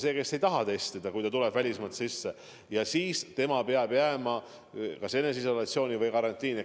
See, kes ei taha testida, kui ta on välismaalt riiki tulnud, peab jääma kas eneseisolatsiooni või karantiini.